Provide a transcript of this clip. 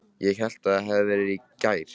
Ég hélt það hefði verið í gær.